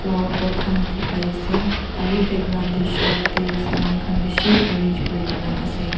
flower pot khan dikhi pai ase aru background teh shelf teh saman khan bishi arrange kori ke na ase.